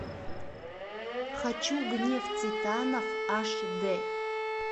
хочу гнев титанов аш д